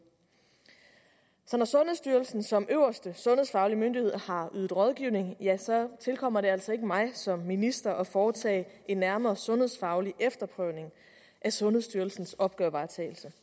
så når sundhedsstyrelsen som øverste sundhedsfaglige myndighed har ydet rådgivning tilkommer det altså ikke mig som minister at foretage en nærmere sundhedsfaglig efterprøvning af sundhedsstyrelsens opgavevaretagelse